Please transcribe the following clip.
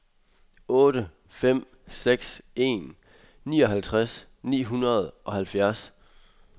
otte fem seks en nioghalvtreds ni hundrede og halvfjerds